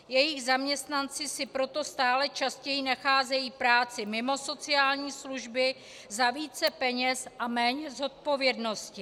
Jejich zaměstnanci si proto stále častěji nacházejí práci mimo sociální služby za více peněz a méně zodpovědnosti.